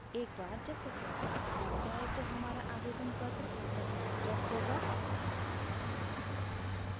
एक बार जब सत्यापन पूरा हो जाये तो हमारा आवेदनपत्र प्रसंस्कृत होगा